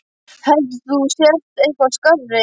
Heldur þú að þú sért eitthvað skárri?